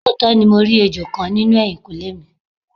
Looto ni mo ri ejo kan ninu ehinkunle mi